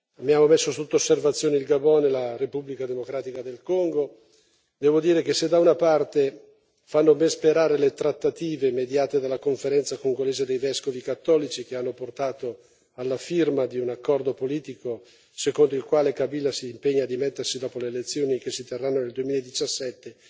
Abbiamo messo sotto osservazione il Gabon e la Repubblica democratica del Congo e devo dire che, se da una parte fanno ben sperare le trattative mediate dalla Conferenza congolese dei vescovi cattolici, che hanno portato alla firma di un accordo politico secondo il quale Kabila si impegna a dimettersi dopo le elezioni che si terranno nel 2017,